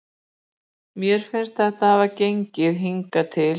Mér finnst þetta hafa gengið vel hingað til.